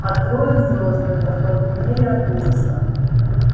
а трое взрослых остолбенели от ужаса